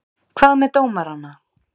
Hvað með dómarana?